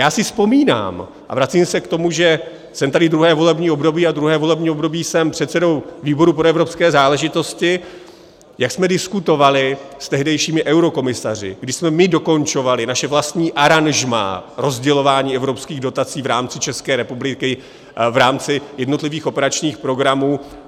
Já si vzpomínám, a vracím se k tomu, že jsem tady druhé volební období a druhé volební období jsem předsedou výboru pro evropské záležitosti, jak jsme diskutovali s tehdejšími eurokomisaři, kdy jsme my dokončovali naše vlastní aranžmá rozdělování evropských dotací v rámci České republiky, v rámci jednotlivých operačních programů.